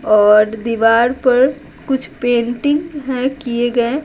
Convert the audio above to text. और दीवार पर कुछ पेंटिंग हैं किए गए।